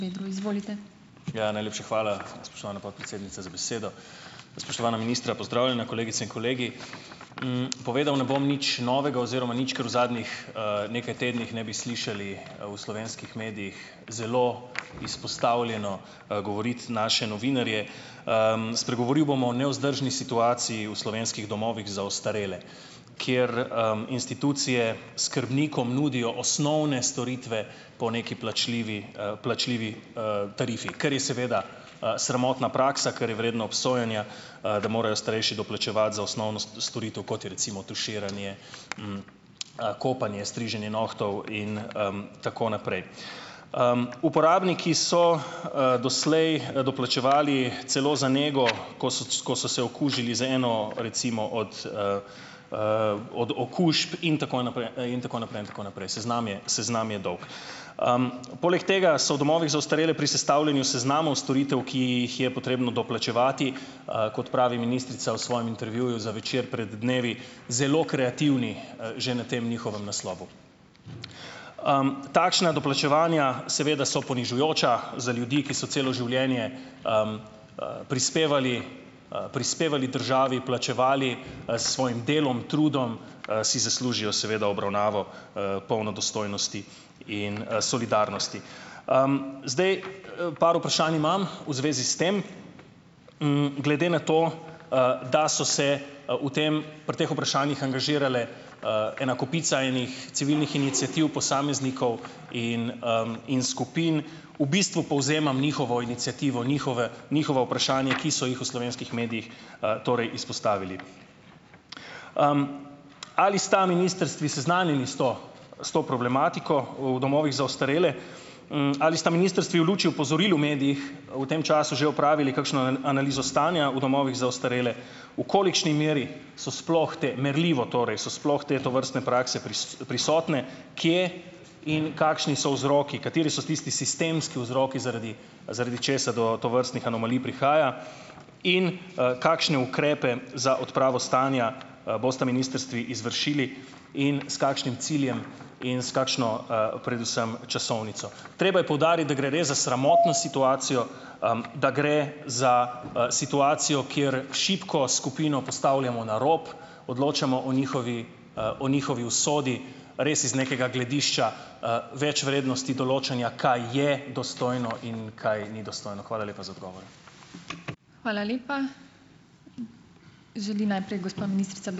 Ja, najlepša hvala, spoštovana podpredsednica, z besedo. Spoštovana ministra, pozdravljena, kolegice in kolegi. Povedal ne bom nič novega oziroma nič, kar v zadnjih, nekaj tednih ne bi slišali v slovenskih medijih zelo izpostavljeno govoriti naše novinarje. Spregovoril bom o nevzdržni situaciji v slovenskih domovih za ostarele, kjer, institucije skrbnikom nudijo osnovne storitve po neki plačljivi, plačljivi, tarifi, kar je seveda, sramotna praksa, kar je vredno obsojanja, da morajo starejši doplačevati za osnovno storitev, kot je recimo tuširanje, kopanje, striženje nohtov in, tako naprej. Uporabniki so, doslej, doplačevali celo za nego, ko so ko so se okužili z eno recimo od, od okužb in tako naprej, in tako naprej, in tako naprej, seznam je seznam je dolg. Poleg tega so v domovih za ostarele pri sestavljanju seznamov storitev, ki jih je potrebno doplačevati, kot pravi ministrica v svojem intervjuju za Večer pred dnevi, zelo kreativni, že na tem njihovem naslovu. Takšna doplačevanja seveda so ponižujoča za ljudi, ki so celo življenje, prispevali, prispevali državi, plačevali, s svojim delom, trudom, si zaslužijo seveda obravnavo, polno dostojnosti in, solidarnosti. Zdaj, par vprašanj imam v zvezi s tem. Glede na to, da so se, v tem pri teh vprašanjih angažirale, ena kopica enih civilnih iniciativ, posameznikov in, in skupin, v bistvu povzemam njihovo iniciativo, njihova, njihova vprašanja, ki so jih v slovenskih medijih, torej izpostavili. Ali sta ministrstvi seznanjeni s to s to problematiko v domovih za ostarele? Ali sta ministrstvi v luči opozorili v medijih v tem času že opravili kakšno analizo stanja v domovih za ostarele? V kolikšni meri so sploh te, merljivo torej, so sploh te, tovrstne prakse prisotne? Kje in kakšni so vzroki, kateri so tisti sistemski vzroki, zaradi zaradi česar do tovrstnih anomalij prihaja? In, kakšne ukrepe za odpravo stanja, bosta ministrstvi izvršili in s kakšnim ciljem in s kakšno, predvsem časovnico? Treba je poudariti, da gre res za sramotno situacijo, da gre za, situacijo, kjer šibko skupino postavljamo na rob, odločamo o njihovi, o njihovi usodi res iz nekega gledišča, večvrednosti določanja, kaj je dostojno in kaj ni dostojno. Hvala lepa za odgovore.